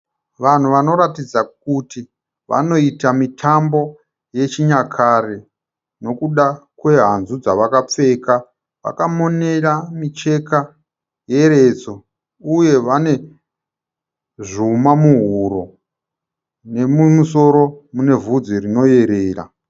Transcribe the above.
Vanhu vanoratidza kuti vanoita mitambo yechinyakare nekuda kwehanzvu dzavakapfeka. Vakamonera micheka yeredzo uye vane zvuma muhuro nemumusoro mune vhudzi rinoerera.